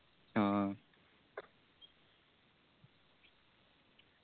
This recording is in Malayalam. ആ